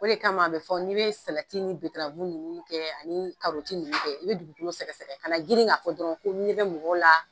O de kama a be fɔ ni be salati ni bederavu nunnu kɛ ani karɔti nunnu kɛ i be dugukolo sɛgɛsɛgɛ ka na girin ka fɔ dɔrɔn ko n ɲɛ bɛ mɔgɔw la